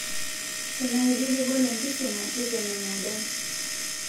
Tenaa ijo kegol enkisuma tetema emodai